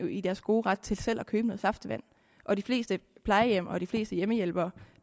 i deres gode ret til selv at købe noget saftevand og de fleste plejehjem og de fleste hjemmehjælpere